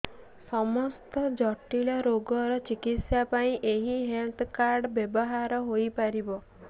ସମସ୍ତ ଜଟିଳ ରୋଗର ଚିକିତ୍ସା ପାଇଁ ଏହି ହେଲ୍ଥ କାର୍ଡ ବ୍ୟବହାର ହୋଇପାରିବ